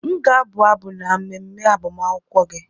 M ga-abụ abụ n'ememe agbamakwụkwọ gị.